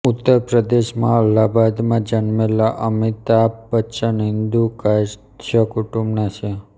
ઉત્તરપ્રદેશ માં અલ્હાબાદમાં જન્મેલા અમિતાભ બચ્ચન હિંદુ કાયસ્થ કુટુંબના છે